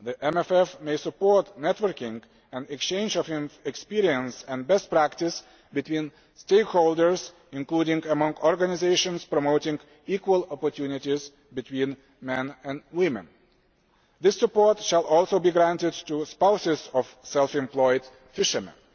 the EMFF can support networking and exchanges of experience and best practice among stakeholders, including among organisations promoting equal opportunities between men and women. This support can also be granted to spouses of self employed fishermen.